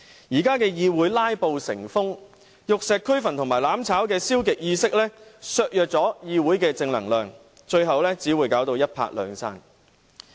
現在的議會"拉布"成風，玉石俱焚和"攬炒"的消極意識削弱了議會的正能量，最後只會一拍兩散。